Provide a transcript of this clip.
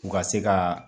U ka se ka